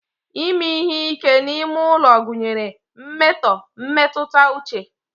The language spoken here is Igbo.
ime ihe ike n'ime ulo gunyere mmeto mmetuta uche